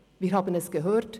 Wir haben es gehört: